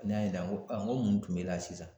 Ne y'a yinika n ko mun kun bɛ i la sisan